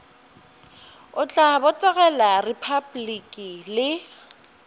o tla botegela repabliki le